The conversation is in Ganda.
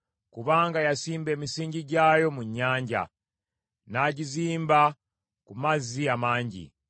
Kubanga yasimba emisingi gyayo mu nnyanja, n’agizimba ku mazzi amangi.